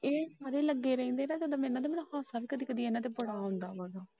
ਇਹ ਲੱਗੇ ਰਹਿੰਦੇ ਮੈਨੂੰ ਲੱਗਦਾ ਹਾਸਾ ਵੀ ਕਦੇ ਕਦੇ ਇਹਨਾਂ ਤੇ ਬੜਾ ਆਉਂਦਾ ਏ।